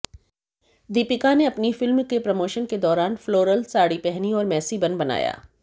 दीपिका ने अपनी फिल्म के प्रमोशन के दौरान फ्लोरल साड़ी पहनी और मैसी बन बनाया